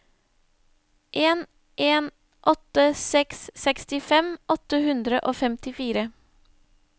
en en åtte seks sekstifem åtte hundre og femtifire